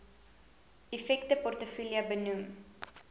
effekte portefeulje benoem